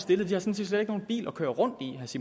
petersen